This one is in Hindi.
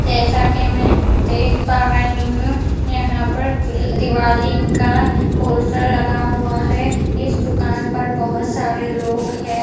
जैसा कि मैं देख पा रही हूँ यहाँ पर दिवाली का पोस्टर लगा हुआ है इस दुकान पर बहुत सारे लोग हैं ।